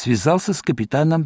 связался с капитаном